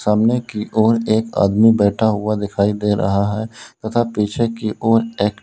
सामने की ओर एक आदमी बैठा हुआ दिखाई दे रहा है तथा पीछे की ओर एक--